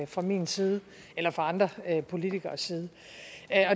fra min side eller fra andre politikeres side